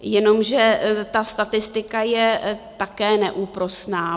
Jenomže ta statistika je také neúprosná.